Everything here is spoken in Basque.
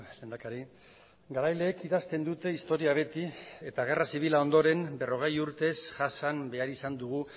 lehendakari garaileek idazten dute historia beti eta gerra zibila ondoren berrogei urtez jasan behar izan dugu